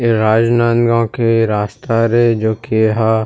ए राजनांदगांव के रास्ता हरे जो कि ह--